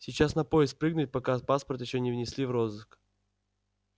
сейчас на поезд прыгнуть пока паспорт ещё не внесли в розыск